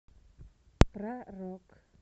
про рок